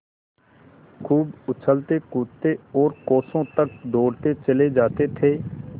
खूब उछलतेकूदते और कोसों तक दौड़ते चले जाते थे